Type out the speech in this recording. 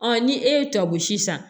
ni e ye tɔgosi san